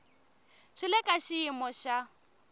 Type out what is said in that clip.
swi le ka xiyimo xa